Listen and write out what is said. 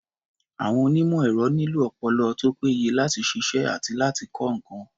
Àwọn onímọ̀-ẹ̀rọ nílò ọpọlọ tó péye láti ṣiṣẹ́ àti láti kọ́ nǹkan.